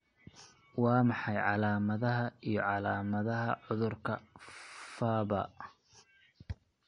Waa maxay calaamadaha iyo calaamadaha cudurka Farber?